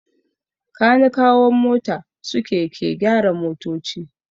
Kanikawan mota suke ke gyara motoci.